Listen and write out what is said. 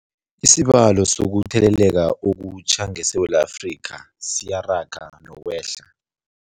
Isibalo sokuthele leka okutjha ngeSewula Afrika siyaraga nokwehla.